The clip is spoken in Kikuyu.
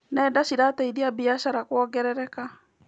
Nenda cirateithia biacara kuongerereka.